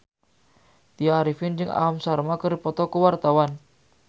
Tya Arifin jeung Aham Sharma keur dipoto ku wartawan